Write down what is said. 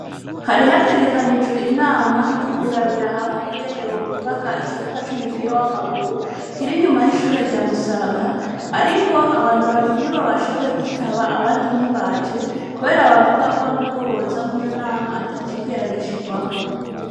Hari hategekanijwe inama ry'ukurabira hamwe ingene bo kubaka ikibuga c'umupira w'amaguru kiri nyuma y'ishure ryamusaga, ariko abantu babiri ni bo bashoboye kwitaba abandi ntibaje, kubera bavuga ko n'ubwo bozamwo iyo nama atacigera gishikwako.